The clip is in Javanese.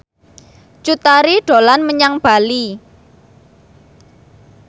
Cut Tari dolan menyang Bali